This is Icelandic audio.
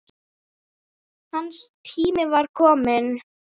Hans tími var kominn.